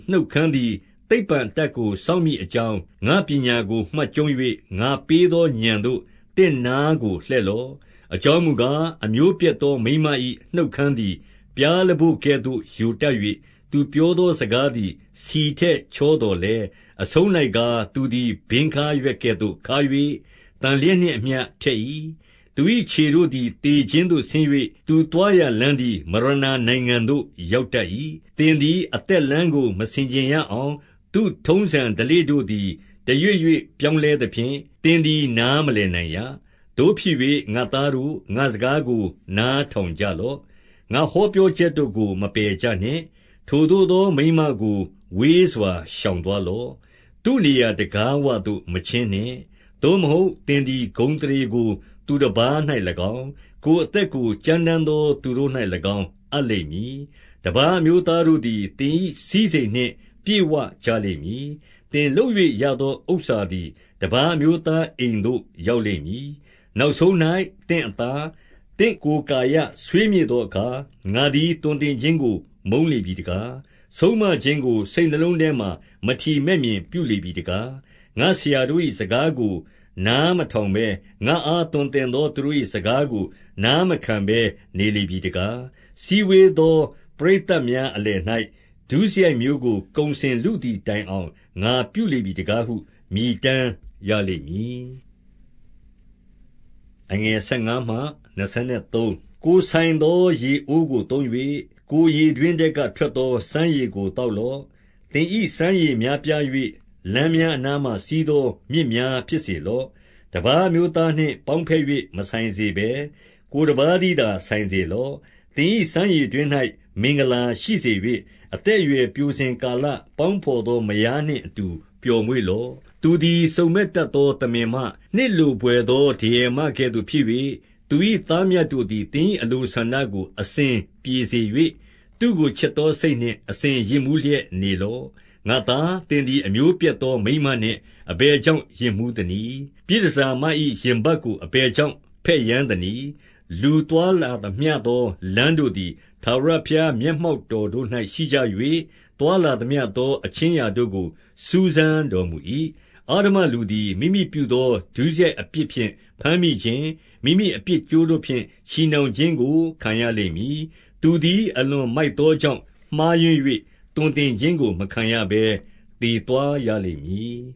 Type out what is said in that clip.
နှုတ် ခမ်းသည် သိပ္ပံအတတ်ကို စောင့်မည်အကြောင်း၊ ငါ့ပညာ ကိုမှတ်ကျုံး၍၊ ငါပေးသောဥာဏ်သို့ သင့်နားကို လှည့်လော့။ 3 အကြောင်းမူကား၊ အမျိုးပျက်သောမိန်းမ၏ နှုတ်ခမ်းသည် ပျားလပို့ကဲ့သို့ယိုတတ်၍၊ သူပြောသောစကား သည် ဆီထက်ချောသော်လည်း၊ 4 အဆုံး၌ကား၊ သူသည်ဘင်းခါးရွက်ကဲ့သို့ခါး၍၊ သန်လျက်နှင့်အမျှ ထက်၏။ 5 သူ၏ခြေတို့သည် သေခြင်းသို့ဆင်း၍၊ သူသွား ရာလမ်းသည် မရဏာနိုင်ငံသို့ ရောက်တတ်၏။ 6 သင်သည်အသက်လမ်းကို မဆင်ခြင်ရအောင်၊ သူ့ထုံးစံဓလေ့တို့သည် တရွေ့ရွေ့ပြောင်းလဲသဖြင့်၊ သင်သည် နားမလည်နိုင်ရ။ 7 သို့ဖြစ်၍ ငါ့သားတို့၊ ငါ့စကားကို နားထောင်ကြ လော့။ ငါဟောပြောချက်တို့ကို မပယ်ကြနှင့်။ 8 ထိုသို့သောမိန်းမကို ဝေးစွာရှောင်သွားလော့။ သူ့နေရာတံခါးဝသို့ မချဉ်းနှင့်။ 9 သို့မဟုတ် သင်သည် ကိုယ်ဂုဏ်အသရေကို သူ တပါး၌၎င်း၊ ကိုယ်အသက်ကို ကြမ်းတမ်းသော သူတို့၌ ၎င်း အပ်လိမ့်မည်။ 10 တပါးအမျိုးသားတို့သည် သင်၏စည်းစိမ်နှင့် ပြည့်ဝကြလိမ့်မည်။ သင်လုပ်၍ ရသောဥစ္စာသည် တပါး အမျိုးသားအိမ်သို့ ရောက်လိမ့်မည်။ 11 နောက်ဆုံး၌ သင့်အသား၊ သင့်ကိုယ်ကာယ ဆွေးမြေ့သောအခါ၊ 12 ငါသည် သွန်သင်ခြင်းကို မုန်းလေပြီတကား။ ဆုံးမခြင်းကို စိတ်နှလုံးထဲမှာ မထီမဲ့မြင်ပြုလေပြီ တကား။ 13 ငါ့ဆရာတို့၏ စကားကိုနားမထောင်ဘဲ၊ ငါ့အား သွန်သင်သော သူတို့၏စကားကို နားမခံဘဲနေလေပြီ တကား။ 14 စည်းဝေးသော ပရိတ်သတ်များအလယ်၌ ဒုစရိုက်မျိုးကို ကုန်စင်လုသည်တိုင်အောင် ငါပြုလေပြီ တကားဟု မြည်တမ်းရလိမ့်မည်။ 15 ကိုယ်ဆိုင်သော ရေအိုးကို သုံး၍၊ ကိုယ်ရေတွင်း ထဲက ထွက်သော စမ်းရေကို သောက်လော့။ 16 သင်၏ စမ်းရေများပြား၍၊ လမ်းများအနားမှာ စီးသော မြစ်များ ဖြစ်စေလော့။ 17 တပါးအမျိုးသားနှင့် ပေါင်းဘက်၍ မဆိုင်စေဘဲ၊ ကိုယ်တပါးတည်းသာ ဆိုင်စေလော့။ 18 သင်၏စမ်းရေတွင်း၌မင်္ဂလာရှိစေ၍၊ အသက် အရွယ်ပျိုစဉ် ကာလ၊ ပေါင်းဘော်သော မယားနှင့်အတူ ပျော်မွေ့လော့။ 19 သူသည်စုံမက်တတ်သော သမင်မ၊ နှစ်လိုဘွယ် သော ဒရယ်မကဲ့သို့ဖြစ်၍၊ သူ၏သားမြတ်တို့သည် သင်၏အလိုဆန္ဒကို အစဉ်ပြေစေ၍၊ သူ့ကိုချစ်သော စိတ်နှင့် အစဉ်ယစ်မူးလျက်နေလော့။ 20 ငါ့သား၊ သင်သည် အမျိုးပျက်သောမိန်းမနှင့် အဘယ်ကြောင့် ယစ်မူးသနည်း။ ပြည်တန်ဆာမ၏ ရင်ပတ်ကိုအဘယ်ကြောင့် ဘက်ယမ်းသနည်း။ 21 လူသွားလာသမျှသော လမ်းတို့သည် ထာဝရ ဘုရားမျက်မှောက်တော်၌ ရှိကြ၍၊ သွားလာသမျှသော အခြင်းအရာတို့ကို စူးစမ်းတော်မူ၏။ 22 အဓမ္မလူသည် မိမိပြုသော ဒုစရိုက်အပြစ်ဖြင့် ဘမ်းမိခြင်း၊ မိမိအပြစ်ကြိုးတို့ဖြင့် ချည်နှောင်ခြင်းကို ခံရ လိမ့်မည်။ 23 သူသည် အလွန်မိုက်သောကြောင့်မှားယွင်း၍၊ သွန်သင်ခြင်းကို မခံရဘဲသေသွားရလိမ့်မည်